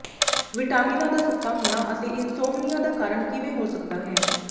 ਵਿਟਾਮਿਨਾਂ ਦਾ ਸੁੱਤਾ ਹੋਣਾ ਅਤੇ ਇਨਸੌਮਨੀਆ ਦਾ ਕਾਰਨ ਕਿਵੇਂ ਹੋ ਸਕਦਾ ਹੈ